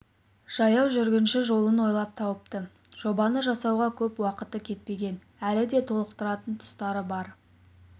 жаяу жүргінші жолын ойлап тауыпты жобаны жасауға көп уақыты кетпеген әлі де толықтыратын тұстары бар